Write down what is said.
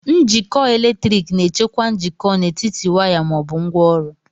Njikọ eletrik na-echekwa njikọ n'etiti waya ma ọ bụ ngwaọrụ.